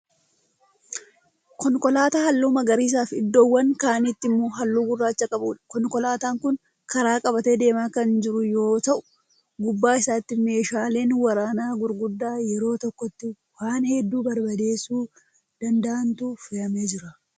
Konkolaataa halluu magariisafi iddoowwan kaanitti immoo halluu gurracha qabuudha. konkolaataan Kuni karaa qabatee deemaa Kan jiru yoo ta'u gubbaa isaatti muushaaleen waraanaa gurguddaa yeroo tokkotti waan hedduu barbadeessuu danda'antu fe'amee Jira.